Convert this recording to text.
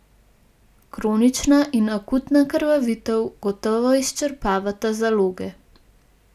Kronična in akutna krvavitev gotovo izčrpavata zaloge.